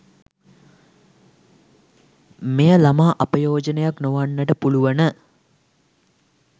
මෙය ළමා අපයෝජනයක් නොවන්නට පුළුවන